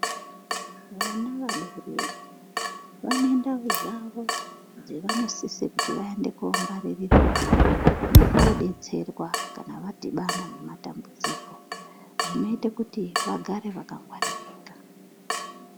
Vana vadodori vane ndau dzawo dzavanosisa kuti vaende kongwaririrwawo nekodetserwa kana vadhibana nematambudziko zvinoita kuti vagare vakangwaririka.